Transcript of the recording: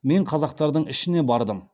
мен қазақтардың ішіне бардым